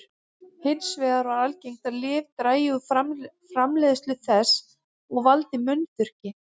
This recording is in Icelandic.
Hins vegar er algengt að lyf dragi úr framleiðslu þess og valdi munnþurrki.